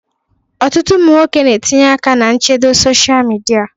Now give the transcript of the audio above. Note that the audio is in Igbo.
Ọtụtụ ụmụ nwoke ga-etinye aka na nchedo sosia midia.